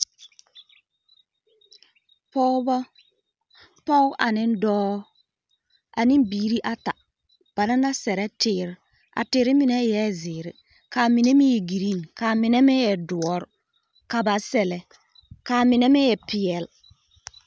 Pɔgebɔ, pɔge ane dɔɔ, ane biiri ata. Bana la sɛrɛ teere. A teere mine eɛ zeere, kaa mine meŋ e giriiŋ, kaa mine meŋ e doɔre, ka ba sɛlɛ, kaa mine meŋ e peɛl.